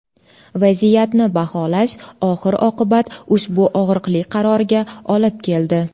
Vaziyatni baholash oxir-oqibat ushbu og‘riqli qarorga olib keldi.